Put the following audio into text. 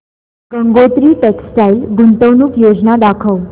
Gangotri textile गुंतवणूक योजना दाखव